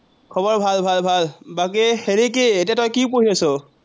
খৱৰ ভাল ভাল ভাল। বাকী হেৰি কি, এতিয়া তই কি পঢ়ি আছ?